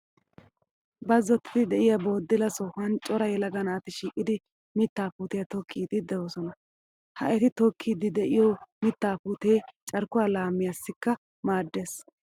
Bazzottiidi diyaa boddila sohan cora yelaga naati shiiqidi mittaa puutiyaatokkiiddi doosona. Ha eti tokkiiddi diyoo mitaa puutee carkkuwaa laamiyaassikka maaddes.